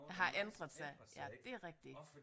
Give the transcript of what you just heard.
Har ændret sig ja det er rigtigt